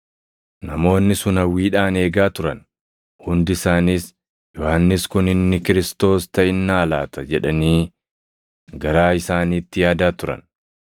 Namoonni sun hawwiidhaan eegaa turan; hundi isaaniis, “Yohannis kun inni Kiristoos + 3:15 yookaan Masiihicha taʼinnaa laata?” jedhanii garaa isaaniitti yaadaa turan.